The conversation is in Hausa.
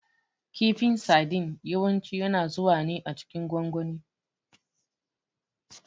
Kifin sadin yawanci yana zuwa ne a cikin gwangwani.